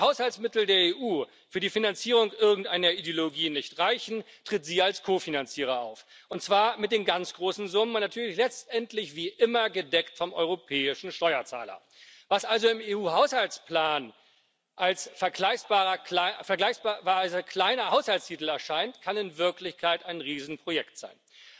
Wo die Haushaltsmittel der EU für die Finanzierung irgendeiner Ideologie nicht reichen, tritt sie als Ko Finanzierer auf, und zwar mit den ganz großen Summen und natürlich letztendlich wie immer gedeckt vom europäischen Steuerzahler. Was also im EU Haushaltsplan als vergleichsweise kleiner Haushaltstitel erscheint, kann in Wirklichkeit ein Riesenprojekt sein.